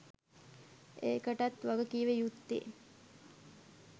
ඒකටත් වග කිව යුත්තේ